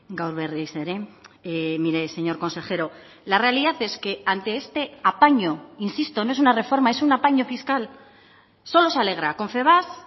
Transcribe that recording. gaur berriz ere mire señor consejero la realidad es que ante este apaño insisto no es una reforma es una apaño fiscal solo se alegra confebask